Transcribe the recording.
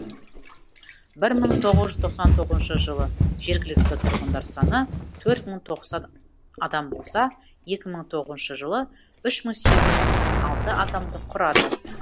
бір мың тоғыз жүз тоқсан тоғызыншы жылы жергілікті тұрғындар саны төрт мың тоқсан адам болса екі мың тоғызыншы жылы үш мың сегіз жүз тоқсан алты адамды құрады